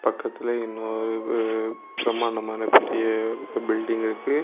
பக்கத்திலேயே இன்னு பிரமாண்டமான பெரிய பில்டிங் இருக்கு.